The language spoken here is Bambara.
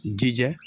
Jija